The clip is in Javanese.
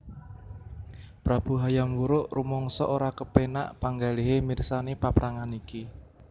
Prabu Hayam Wuruk rumangsa ora kepénak panggalihé mirsani paprangan iki